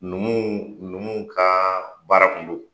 Numuw numuw ka baara kun do